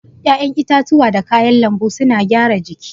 ya'yan itatuwa da kayan lanbu suna gyara jiki.